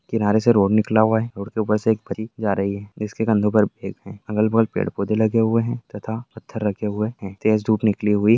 किनारे से रोड निकला हुआ है रोड के ऊपर से एक परी जा रही है जिसके कंधों पे है अगल-बगल पेड़-पौधे लगे हुए है तथा पत्थर रखे हुए है तेज धूप निकली हुई --